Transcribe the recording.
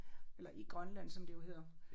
Eller i Grønland som det jo hedder